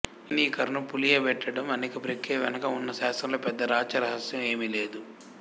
ఈ ఫేనీకరణం పులియబెట్టడం అనే ప్రక్రియ వెనక ఉన్న శాస్త్రంలో పెద్ద రాచరహశ్యం ఏమీ లేదు